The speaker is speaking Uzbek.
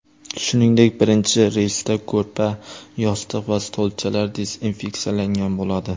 Shuningdek birinchi reysda ko‘rpa, yostiq va stolchalar dezinfeksiyalangan bo‘ladi.